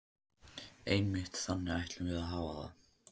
Einmitt, þannig ætlum við að hafa það.